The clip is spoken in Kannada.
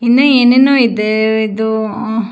ಇನ್ನೂ ಏನೇನೋ ಇದೆ ಇದು ಹಾಂ.